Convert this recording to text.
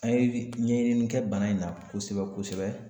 An ye ɲɛɲini kɛ bana in na kosɛbɛ kosɛbɛ